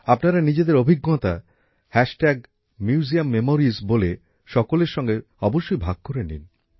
আপনারা নিজেদের অভিজ্ঞতা museummemoriesএ সকলের সাথে অবশ্যই ভাগ করে নিন